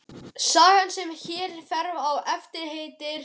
Sagan sem hér fer á eftir heitir